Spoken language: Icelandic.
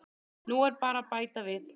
Nú er bara að bæta við.